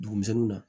Dugu misɛnninw na